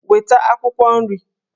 Weta akwukwo nri!